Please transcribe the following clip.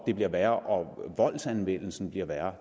det bliver værre og voldsanvendelsen bliver værre